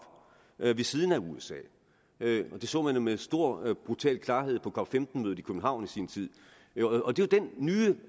ved siden af usa det så man jo med stor brutal klarhed på cop15 mødet i københavn i sin tid og det er den nye